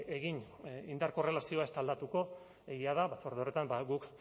egin indar korrelazioa ez da aldatuko egia da batzorde horretan guk